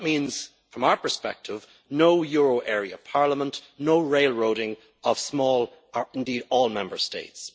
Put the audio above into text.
That means, from our perspective, no euro area parliament, no railroading of small or indeed any Member States.